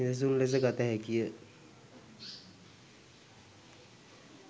නිදසුන් ලෙස ගත හැකිය.